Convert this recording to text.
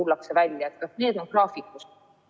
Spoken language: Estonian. Kas nendega ollakse graafikus?